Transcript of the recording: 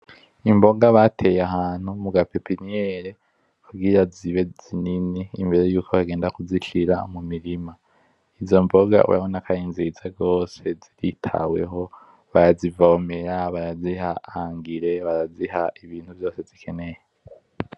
Imboga bateye ahantu mugapepiniyeri kugira zibe zinini imbere yuko bagenda kuzishira mumurima izo mbona urabona ko arinziza gose zitaweho, barazivomera , baraziha Ibintu vyose zikenewe.